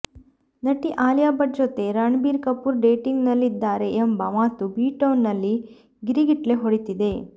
ನಟಿ ಆಲಿಯಾ ಭಟ್ ಜೊತೆ ರಣ್ಬೀರ್ ಕಪೂರ್ ಡೇಟಿಂಗ್ ನಲ್ಲಿದ್ದಾರೆ ಎಂಬ ಮಾತು ಬಿಟೌನ್ ನಲ್ಲಿ ಗಿರಿಗಿಟ್ಲೆ ಹೊಡಿತಿದೆ